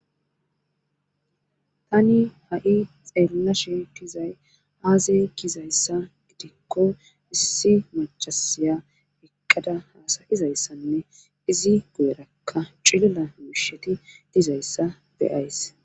Tani ha'i xeellashe dizay aaze kizayssa gidikko issi macasiya eqqada hasayizayssanne izi gu'erakka cilila miisheti dizayssa beays